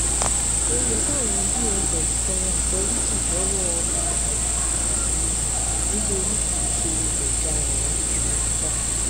ó yẹ káwọn dss tọrọ àforíjì lọwọ ìgbárò ni nítorí kì í ṣe ọdaràn wọlé sọyìnkà